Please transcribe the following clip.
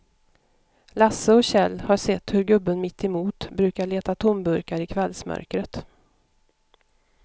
Lasse och Kjell har sett hur gubben mittemot brukar leta tomburkar i kvällsmörkret.